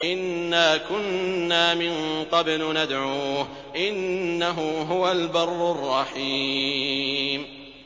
إِنَّا كُنَّا مِن قَبْلُ نَدْعُوهُ ۖ إِنَّهُ هُوَ الْبَرُّ الرَّحِيمُ